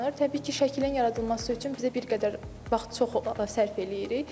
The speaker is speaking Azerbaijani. Təbii ki, şəklin yaradılması üçün bizə bir qədər vaxt çox sərf eləyirik.